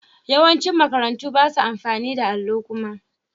Yawancin makarantu ba su amfani da allo kuma.